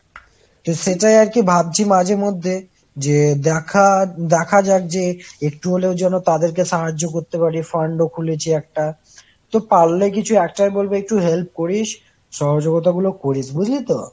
তো সেটাই আর কি ভাবছি মাঝে মধ্যে, যে দেখা দেখা যাক যে , একটু হলেও যেন তাদের কে সাহায্য করতে পারি। fund ও খুলেছি একটা। তো পারলে কিছু একটাই বলবো কিছু help করিস। সহযোগিতা গুলো করিস। বুঝলি তো?